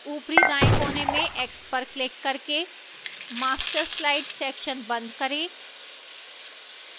ऊपरी दाएं कोने में x पर क्लिक करके master slides section बंद करें